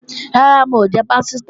Rárá, n ò jẹ pásítà